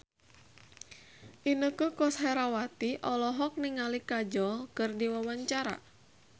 Inneke Koesherawati olohok ningali Kajol keur diwawancara